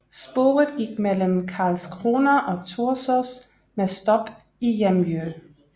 Sporet gik mellem Karlskrona og Torsås med stop i Jämjö